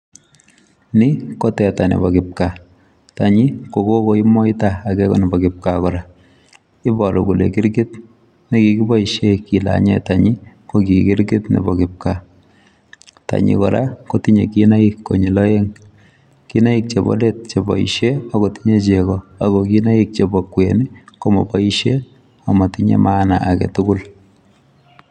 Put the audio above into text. Ni ko teta nebo kipkaa. Tanyi, kogokoi moita, age ko nebo kipkaa kora. Iboru kole kirkit ne kikiboisie kilanye tanyi ko ki kirkit nebo kipkaa. Tanyi kora, kotinye kinaik konyil aeng'. Kinaik chebo let che boisie, agotinye chego, ago kinaik chebo kwen komoboisie, amatinye maana agetugul